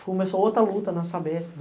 Começou outra luta na Sabésco.